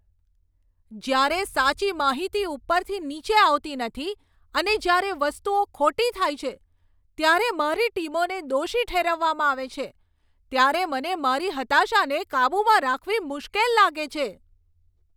જ્યારે સાચી માહિતી ઉપરથી નીચે આવતી નથી અને જ્યારે વસ્તુઓ ખોટી થાય છે ત્યારે મારી ટીમોને દોષી ઠેરવવામાં આવે છે ત્યારે મને મારી હતાશાને કાબૂમાં રાખવી મુશ્કેલ લાગે છે.